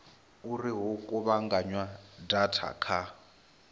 uri hu kuvhunganywe data kha